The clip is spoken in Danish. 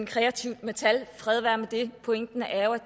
kreativt med tal fred være med det pointen er